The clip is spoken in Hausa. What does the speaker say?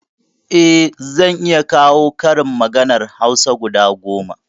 Eh zan iya kawo karin maganar hausa guda goma